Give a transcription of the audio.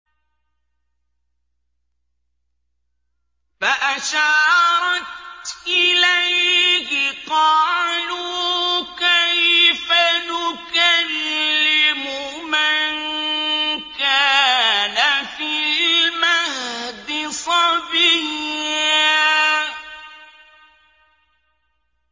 فَأَشَارَتْ إِلَيْهِ ۖ قَالُوا كَيْفَ نُكَلِّمُ مَن كَانَ فِي الْمَهْدِ صَبِيًّا